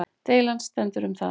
Deilan stendur um það